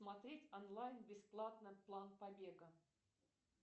смотреть онлайн бесплатно план побега